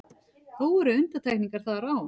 Þó eru undantekningar þar á.